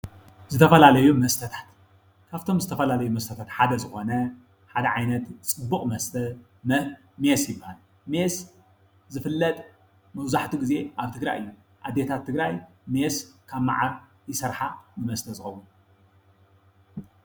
ዝተፈላለዩ መስተታት ካብቶም ዝተፈላለዩ መስተታት ዝኮነ ሓደ ዓይነት ፅቡቅ መስተ ዝኮነ ሜስ ይበሃል። ሜስ ዝፍለጥ መብዛሕቲኡ ግዜ ኣብ ትግራይ እዩ። ኣዴታት ትግራይ ሜስ ካብ መዓር ይሰርሓ መስተ እዩ ዝከውን።